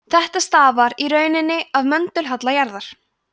þetta stafar í rauninni af möndulhalla jarðar